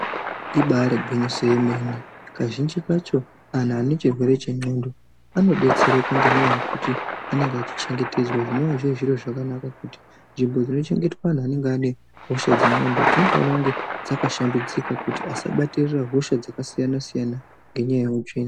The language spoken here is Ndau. ibari gwinyiso remene kazhinji kacho antu anechirere chendxondo anobetsereka ngendaa yekuti anenge achichengetedzwa. Zvinova zviri zviro zvakanaka kuti nzvimbo dzinochengeterwa antu anenge aine hosha dzendxondo, dzinofanire kunge dzakashambidzika kuti asabatirira hosha dzakasiyana -siyana nenyaya yeutsvina.